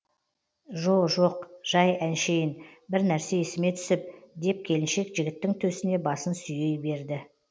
жо жоқ жай әншейін бір нәрсе есіме түсіп деп келіншек жігіттің төсіне басын сүйей берді